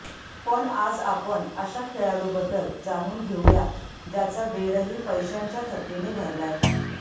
पण आज आपण अशा खेळाडूबद्दल जाणून घेऊया ज्याचा बेडही पैशांच्या थप्पीने भरलाय